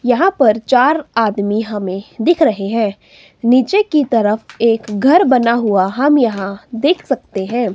यहां पर चार आदमी हमें दिख रहे हैं नीचे की तरफ एक घर बना हुआ हम यहां देख सकते हैं।